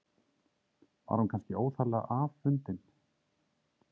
Var hún kannski óþarflega afundin?